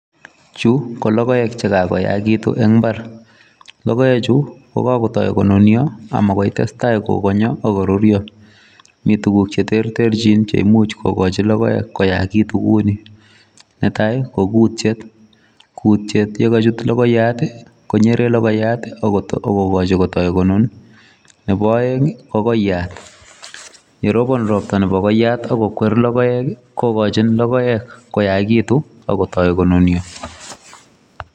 Chu ko logoek che kakoyagituun en mbar logoek chuu ko kakotoi ko nunia ama ko tesetai ko nunia Mii tuguuk che terterjiin cheimuuch kogochi logoek koyakituun kiuni netai ko kutiet , kutiet ye kachuut logoyaat akonyeren logoyaat agigachii kobuun nebo aeng ii ko koyaat ye robaan roptaa ak ko kweer logoek kogochin logoek koyakituun ak kotoi ko nunia.